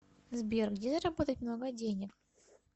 сбер где заработать много денег